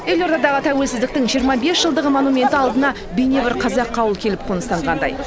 елордадағы тәуелсіздіктің жиырма бес жылдығы монументі алдына бейне бір қазақы ауыл келіп қоныстанғандай